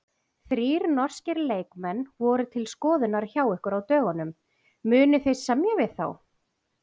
Þrír norskir leikmenn voru til skoðunar hjá ykkur á dögunum, munið þið semja við þá?